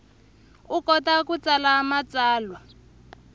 u kota ku tsala matsalwa